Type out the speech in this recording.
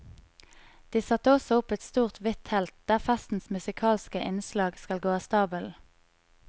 De satte også opp et stort, hvitt telt der festens musikalske innslag skal gå av stabelen.